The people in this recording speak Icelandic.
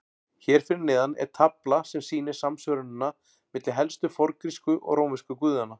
Hér fyrir neðan er tafla sem sýnir samsvörunina milli helstu forngrísku og rómversku guðanna.